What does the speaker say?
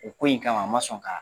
O ko in kama, a ma sɔn kaa